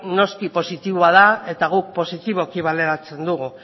noski positiboa da eta guk positiboki baloratzen dugu